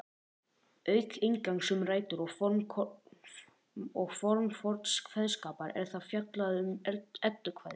Auk inngangs um rætur og form forns kveðskapar er þar fjallað um eddukvæði.